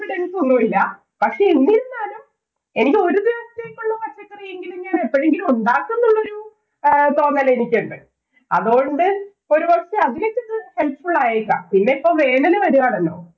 confidence ഒന്നുമില്ല. പക്ഷേ, എന്നിരുന്നാലും എനിക്ക് ഒരു ദിവസത്തേക്കുള്ള പച്ചക്കറിയെങ്കിലും ഞാനെപ്പോഴെങ്കിലും ഉണ്ടാക്കും എന്ന തോന്നല്‍ എനിക്കുണ്ട്. അതുകൊണ്ട് ഒരുദിവസത്തെ helpful ആയേക്കാം. പിന്നെപ്പോ വേനല് വരുവാണല്ലോ.